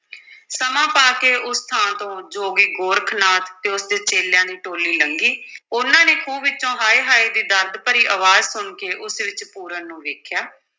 ਸਮਾਂ ਪਾ ਕੇ ਉਸ ਥਾਂ ਤੋਂ ਜੋਗੀ ਗੋਰਖ ਨਾਥ ਅਤੇ ਉਸਦੇ ਚੇਲਿਆਂ ਦੀ ਟੋਲੀ ਲੰਘੀ ਉਨ੍ਹਾਂ ਨੇ ਖੂਹ ਵਿੱਚੋਂ ਹਾਏ ਹਾਏ ਦੀ ਦਰਦ ਭਰੀ ਅਵਾਜ਼ ਸੁਣ ਕੇ ਉਸ ਵਿੱਚ ਪੂਰਨ ਨੂੰ ਵੇਖਿਆ।